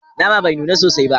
Nama bai nuna sosai ba